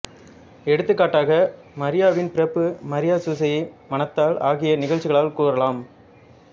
எடுத்துக்காட்டாக மரியாவின் பிறப்பு மரியா சூசையை மணத்தல் ஆகிய நிகழ்ச்சிகளைக் கூறலாம்